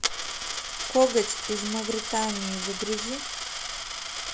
коготь из мавритании загрузи